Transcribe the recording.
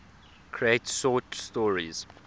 create short stories